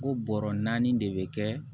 O bɔrɔ naani de bɛ kɛ